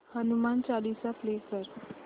Hanuman Chalisa play कर